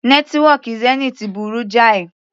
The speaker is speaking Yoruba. Nẹ́tíwọ́kì Zenith burú jáì.